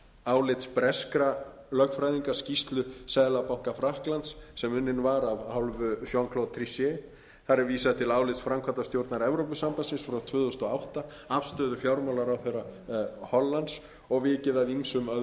álits breskra lögfræðinga skýrslu seðlabanka frakklands sem unnin var af hálfu jean claude trichet þar er vísað til álits framkvæmdastjórnar evrópusambandsins frá tvö þúsund og átta afstöðu fjármálaráðherra hollands og vikið að ýmsum